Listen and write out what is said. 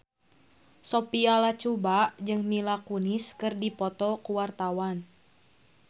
Sophia Latjuba jeung Mila Kunis keur dipoto ku wartawan